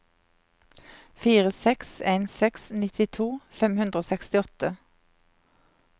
fire seks en seks nittito fem hundre og sekstiåtte